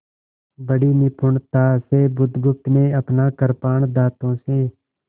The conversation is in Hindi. बड़ी निपुणता से बुधगुप्त ने अपना कृपाण दाँतों से